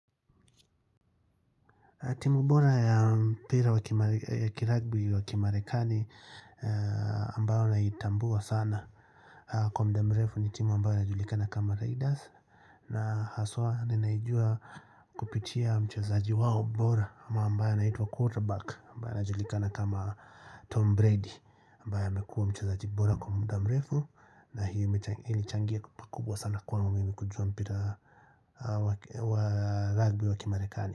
Timu bora ya mpira ya kiragbi wa kimarekani ambayo naitambua sana. Kwa mdamrefu ni timu ambayo inajulikana kama Raiders. Na haswa ninaijua kupitia mchazaji wao bora ambaye anaitwa quarterback ambaye anajulikana kama Tom Brady. Ambaye amekuwa mchazaji bora kwa mdamrefu na hii imechangia pakubwa sana kwangu mimi kujua mpira wa ragbi wa kimarekani.